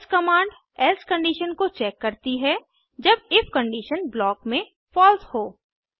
else command else condition को check करती है जब इफ कंडिशन ब्लॉक में फलसे हो